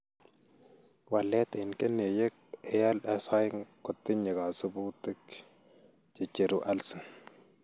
Walet en keneyeek ALS2 kotiinye kasubutik checheru alsin.